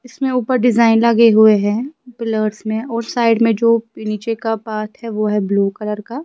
इसमें ऊपर डिजाइन लगे हुए हैं पिलर्सज़ में और साइड में जो नीचे का पाथ है वो है ब्लू कलर का।